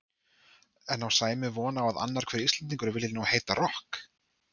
En á Sæmi von á að annar hver Íslendingur vilji nú heita rokk?